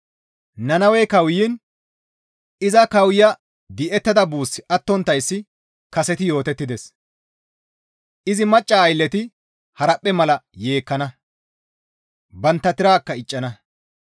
Nannawey kawuyiin izi kawoya di7ettada buussi attonttayssi kaseti yootettides. Izi macca aylleti haraphphe mala yeekkana; bantta tirakka iccana.